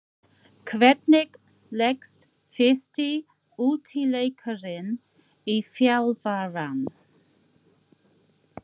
Hvernig leggst fyrsti útileikurinn í þjálfarann?